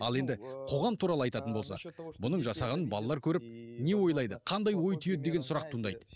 ал енді қоғам туралы айтатын болсақ бұның жасағанын балалар көріп не ойлайды қандай ой түйеді деген сұрақ туындайды